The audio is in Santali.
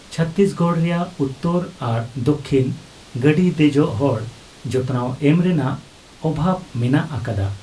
ᱪᱷᱚᱛᱛᱤᱥᱜᱚᱲ ᱨᱮᱭᱟᱜ ᱩᱛᱛᱚᱨ ᱟᱨ ᱫᱟᱹᱠᱷᱤᱱ ᱜᱟᱹᱰᱤ ᱫᱮᱡᱚᱜ ᱦᱚᱲ ᱡᱚᱛᱱᱟᱣ ᱮᱢ ᱨᱮᱱᱟᱜ ᱚᱵᱷᱟᱵᱽ ᱢᱮᱱᱟᱜ ᱟᱠᱟᱫᱟ ᱾